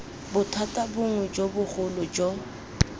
bothata bongwe jo bogolo jo